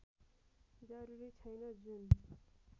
जरूरी छैन जुन